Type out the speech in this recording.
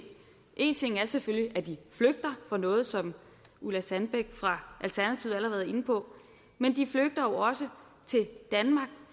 en ting er selvfølgelig at de flygter fra noget som ulla sandbæk fra alternativet allerede var inde på men de flygter jo også til danmark